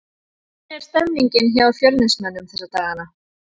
Hvernig er stemningin hjá Fjölnismönnum þessa dagana?